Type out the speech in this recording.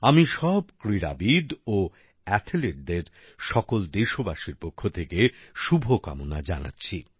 আমি সব ক্রীড়াবিদ ও অ্যাথলিটদের সকল দেশবাসীর পক্ষ থেকে শুভকামনা জানাচ্ছি